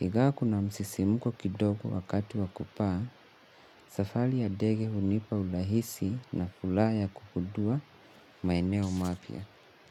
Ingawa kuna msisimuko kidogo wakati wa kupaa, safari ya ndege hunipa urahisi na furaha kugundua maeneo mapya.